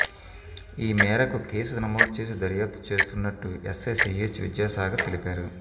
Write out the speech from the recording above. ఈమేరకు కేసు నమోదు చేసి దర్యాప్తు చేస్తున్నట్టు ఎస్ఐ సిహెచ్ విద్యాసాగర్ తెలిపారు